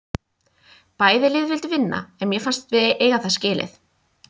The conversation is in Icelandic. Bæði lið vildu vinna en mér fannst við eiga það skilið.